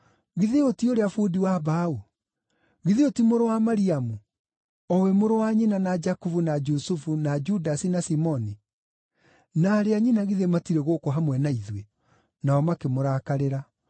Githĩ ũyũ ti ũrĩa bundi wa mbaũ? Githĩ ũyũ ti mũrũ wa Mariamu, o we mũrũ wa nyina na Jakubu na Jusufu na Judasi na Simoni. Na aarĩ a nyina githĩ matirĩ gũkũ hamwe na ithuĩ?” Nao makĩmũrakarĩra.